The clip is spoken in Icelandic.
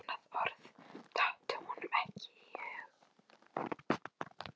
Annað orð datt honum ekki í hug.